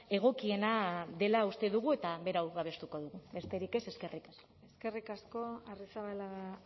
egokiena dela uste dugu eta berau babestuko dugu besterik ez eskerrik asko eskerrik asko arrizabalaga